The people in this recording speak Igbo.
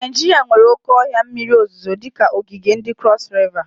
Naijiria nwere oke ohia mmiri ozuzo dika ogige ndi Crosu Riva.